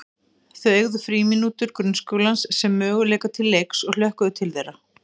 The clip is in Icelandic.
Þau eygðu frímínútur grunnskólans sem möguleika til leiks og hlökkuðu til þeirra.